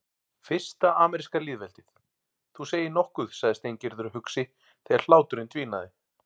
Fyrsta ameríska lýðveldið, þú segir nokkuð sagði Steingerður hugsi þegar hláturinn dvínaði.